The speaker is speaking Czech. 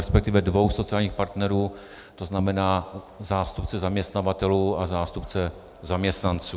Respektive dvou sociálních partnerů, to znamená zástupce zaměstnavatelů a zástupce zaměstnanců.